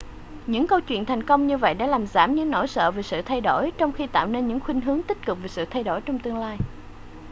những câu chuyện thành công như vậy đã làm giảm những nỗi sợ về sự thay đổi trong khi tạo nên những khuynh hướng tích cực về sự thay đổi trong tương lai